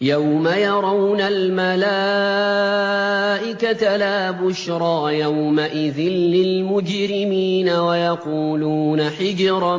يَوْمَ يَرَوْنَ الْمَلَائِكَةَ لَا بُشْرَىٰ يَوْمَئِذٍ لِّلْمُجْرِمِينَ وَيَقُولُونَ حِجْرًا